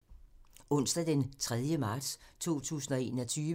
Onsdag d. 3. marts 2021